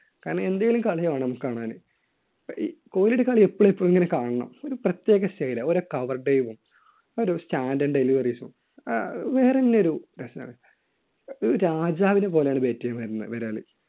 കാരണം എന്തെങ്കിലും കളി വേണം നമുക്ക് കാണാന്. കോഹ്‌ലിയുടെ കളി എപ്പോഴും എപ്പോഴും ഇങ്ങനെ കാണണം. ഒരു പ്രത്യേക style ആണ്‌. ഓരോ cover time ഉം ഒരു standard deliveries ഉം ആഹ് വേറെന്നെ ഒരു രസാണ്. ഒരു രാജാവിനെ പോലെയാണ് bat ചെയ്യാൻ വരുന്ന~ വരാറ്.